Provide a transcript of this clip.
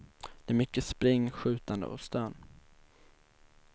Det är mycket spring, skjutande och stön.